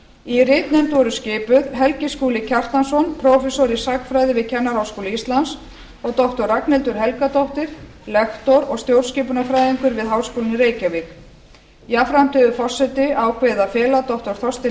í ritnefnd voru skipuð helgi skúli kjartansson prófessor í sagnfræði við kennaraháskóla íslands og doktor ragnhildur helgadóttir lektor og stjórnskipunarfræðingur við háskólann í reykjavík jafnframt hefur forseti ákveðið að fela doktor þorsteini